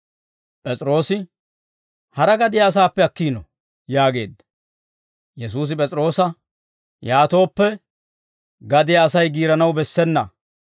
P'es'iroosi, «Hara gadiyaa asaappe akkiino» yaageedda. Yesuusi P'es'iroosa, «Yaatooppe, gadiyaa Asay giiranaw bessena.